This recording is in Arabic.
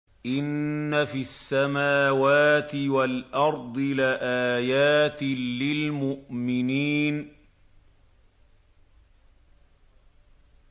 إِنَّ فِي السَّمَاوَاتِ وَالْأَرْضِ لَآيَاتٍ لِّلْمُؤْمِنِينَ